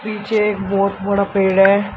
पीछे एक बहुत बड़ा पेड़ है।